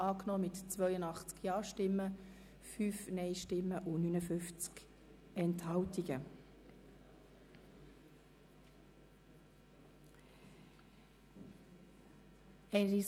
Sie haben den Antrag BDP/Herren mit 82 Ja- gegen 5 Nein-Stimmen bei 59 Enthaltungen angenommen.